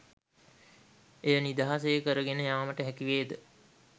එය නිදහසේ කරගෙන යාමට හැකිවේද?